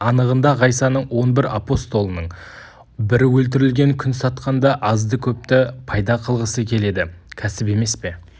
анығында ғайсаның он бір апостолының бірі өлтірілген күн сатқанда азды-көпті пайда қылғысы келеді кәсіп емес пе